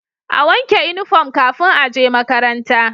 A wanke inufom kafin aje makaranta